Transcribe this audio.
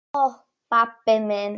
Ó, pabbi minn.